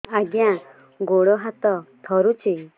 ଆଜ୍ଞା ଗୋଡ଼ ହାତ ଥରୁଛି